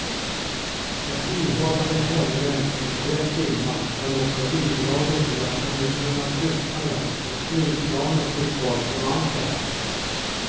Ett ihållande hällregn och tät dimma kan också ha bidragit till att kanonerna tystnade och flygplanen stod kvar på marken.